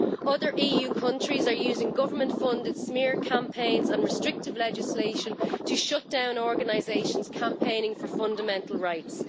Other EU countries are using government-funded smear campaigns and restrictive legislation to shut down organisations campaigning for fundamental rights.